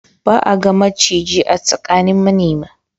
Ba a ga maciji a tsakanin manema.